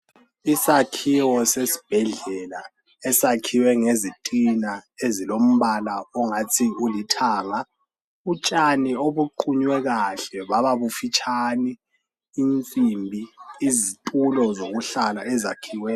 Isakhiwo sesibhedlela esakhiwe ngezitina ezilombala ongathi ulithanga. Utshani obuqunywe kahle baba bufitshane insimbi, izitulo zokuhlala ezakhiwe.